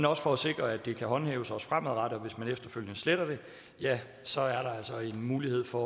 også for at sikre at det kan håndhæves også fremadrettet og hvis man efterfølgende sletter det ja så er der altså en mulighed for